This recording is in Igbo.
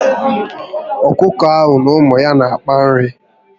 Ọkụkọ ahụ na ụmụ ya n'akpa nri